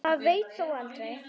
Maður veit þó aldrei.